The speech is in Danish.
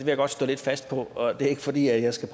jeg godt stå lidt fast på og det er ikke fordi jeg skal